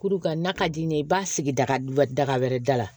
Kuru ka n'a ka di n ye i b'a sigi daga daga wɛrɛ da la